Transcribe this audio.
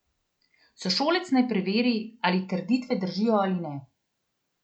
Sošolec naj preveri, ali trditve držijo ali ne.